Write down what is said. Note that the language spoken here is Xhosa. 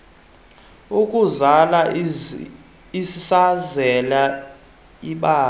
ukuzala isazela ibalai